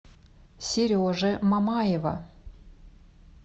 сережи мамаева